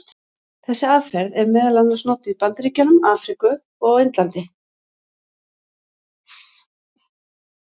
Þessi aðferð er meðal annars notuð í Bandaríkjunum, Afríku og á Indlandi.